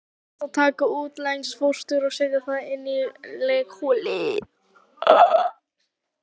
Aldrei er hægt að taka utanlegsfóstur og setja það inn í legholið.